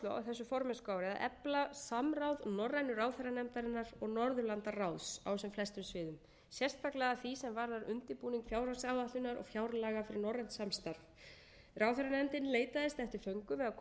þessu formennskuári að efla samráð norrænu ráðherranefndarinnar og norðurlandaráðs á sem flestum sviðum sérstaklega að því á varðar undirbúning fjárhagsáætlunar og fjárlaga fyrir norrænt samstarf ráðherranefndin leitaðist eftir föngum við að koma til móts við óskir ráðsins